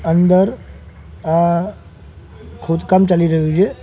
અંદર આ ખોદકામ ચાલી રહ્યુ છે.